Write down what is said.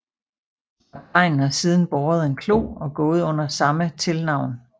Kaptajnen har siden båret en klo og gået under samme tilnavn